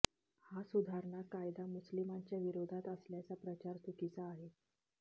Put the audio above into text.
हा सुधारणा कायदा मुस्लिमांच्या विरोधात असल्याचा प्रचार चुकीचा आहे